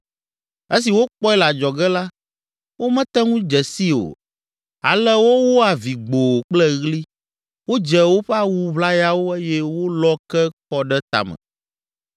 Esi wokpɔe le adzɔge la, womete ŋu dze sii o, ale wowo avi gboo kple ɣli, wodze woƒe awu ʋlayawo eye wolɔ ke kɔ ɖe tame.